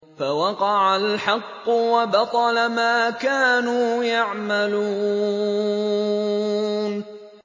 فَوَقَعَ الْحَقُّ وَبَطَلَ مَا كَانُوا يَعْمَلُونَ